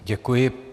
Děkuji.